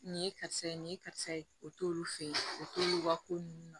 Nin ye karisa ye nin ye karisa ye o t'olu fɛ yen o t'olu ka ko ninnu na